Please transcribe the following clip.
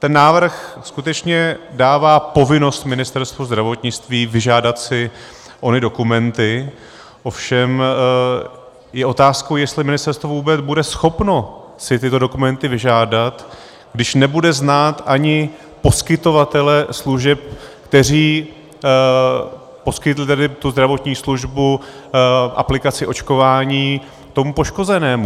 Ten návrh skutečně dává povinnost Ministerstvu zdravotnictví vyžádat si ony dokumenty, ovšem je otázkou, jestli ministerstvo vůbec bude schopno si tyto dokumenty vyžádat, když nebude znát ani poskytovatele služeb, kteří poskytli tedy tu zdravotní službu, aplikaci očkování, tomu poškozenému.